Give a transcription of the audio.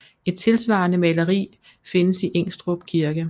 Et tilsvarende maleri findes i Ingstrup kirke